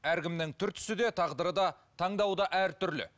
әркімнің түр түсі де тағдыры да таңдауы да әртүрлі